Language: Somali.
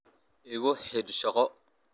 Igu xidh shaqo.